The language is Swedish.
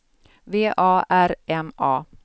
V A R M A